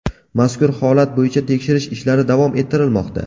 Mazkur holat bo‘yicha tekshirish ishlari davom ettirilmoqda.